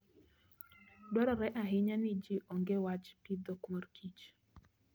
Dwarore ahinya ni ji ong'e wach pidho mor kich.